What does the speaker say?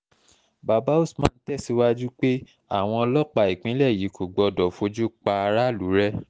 bàbá usman tẹ̀síwájú pé àwọn ọlọ́pàá ìpínlẹ̀ yìí kò gbọ́dọ̀ fojú pa aráàlú rẹ́